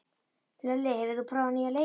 Hlölli, hefur þú prófað nýja leikinn?